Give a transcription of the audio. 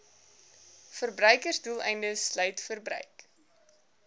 verbruiksdoeleindes sluit verbruik